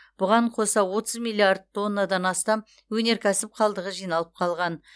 бұған қоса отыз миллиард тоннадан астам өнеркәсіп қалдығы жиналып қалған